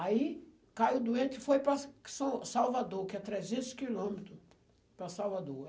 Aí caiu doente e foi para sa são Salvador, que é trezentos quilômetros para Salvador.